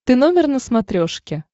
ты номер на смотрешке